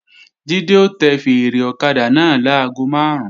Jídé ó tẹ fèèrè ọ̀kadà náà láago máàrún